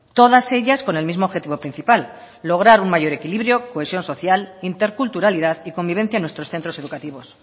todas ellas con el mismo objetivo principal lograr un mayor equilibrio cohesión social interculturalidad y convivencia en nuestros centros educativos